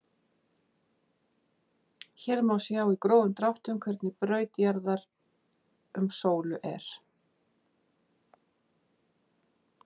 Hér má sjá í grófum dráttum hvernig braut jarðar um sólu er.